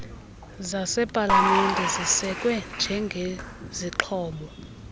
zasepalamente zisekwe njengezixhobo